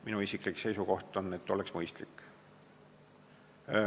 Minu isiklik seisukoht on, et see oleks mõistlik.